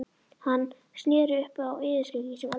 Hann sneri upp á yfirskeggið sem aldrei fyrr.